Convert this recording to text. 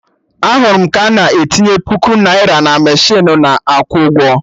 Ahụrụ m ka na etinye puku naira na mechinu na akwụ ụgwọ